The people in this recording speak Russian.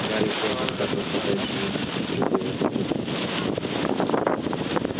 гарри поттер готов отдать жизнь за друзей воскликнул домовик